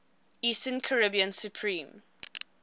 eastern caribbean supreme